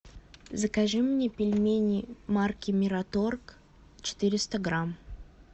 закажи мне пельмени марки мираторг четыреста грамм